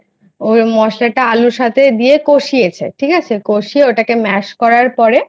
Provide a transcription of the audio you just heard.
ওই মশলাটা আলুর সাথে দিয়ে কষিয়ে ঠিক আছে কষিয়ে ওটাকে Mash করার পরে